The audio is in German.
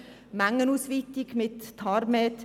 Mengenausweitung mit der Tarifstruktur